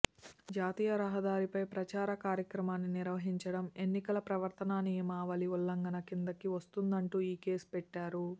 జాతీయ రహదారిపై ప్రచార కార్యక్రమాన్ని నిర్వహించడం ఎన్నికల ప్రవర్తనా నియమావళి ఉల్లంఘన కిందికి వస్తుందంటూ ఈ కేసు పెట్టారు